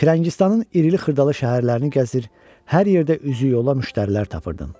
Firəngistanın irili-xırdalı şəhərlərini gəzir, hər yerdə üzüyola müştərilər tapırdım.